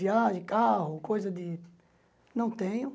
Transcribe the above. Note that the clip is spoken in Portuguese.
Viagem, carro, coisa de... Não tenho.